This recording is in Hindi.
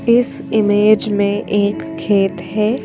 इस इमेज में एक खेत है।